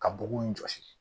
Ka bɔgɔ in jɔsi